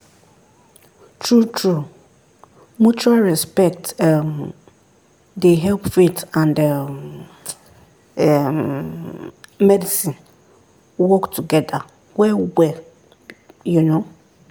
true-true mutual respect um dey help faith and um um medicine work together well well. um